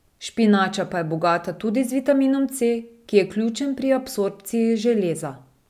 Špinača pa je bogata tudi z vitaminom C, ki je ključen pri absorpciji železa.